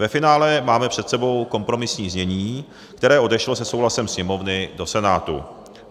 Ve finále máme před sebou kompromisní znění, které odešlo se souhlasem Sněmovny do Senátu.